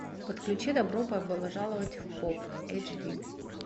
подключи добро пожаловать в поп эйч ди